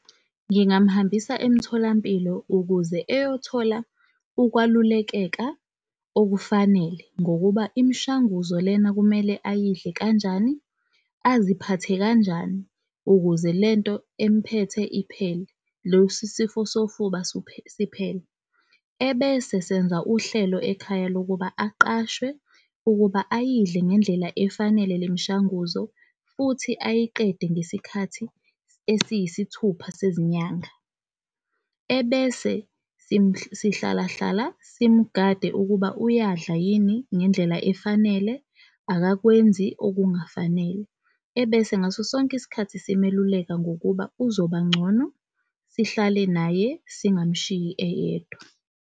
Ngingamuhambisa emtholampilo ukuze eyothola ukwalulekeka okufanele ngokuba imishanguzo lena kumele ayidle kanjani, aziphathe kanjani ukuze lento emphethe iphele, losi sifo sofuba siphele. Ebese senza uhlelo ekhaya lokuba aqashwe ukuba ayidle ngendlela efanele le mishanguzo futhi ayiqede ngesikhathi esiyisithupha sezinyanga. Ebese sihlala hlala simgade ukuba uyadla yini ngendlela efanele, akakwenzi okungafanele. Ebese ngaso sonke isikhathi simeluleka ngokuba uzobangcono sihlale naye, singamshiyi eyedwa.